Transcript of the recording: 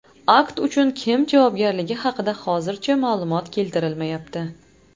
Akt uchun kim javobgarligi haqida hozircha ma’lumot keltirilmayapti.